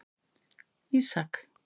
Ísak